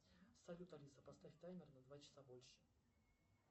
салют алиса поставь таймер на два часа больше